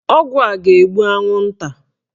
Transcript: Ọgwụ a ga-egbu anwụnta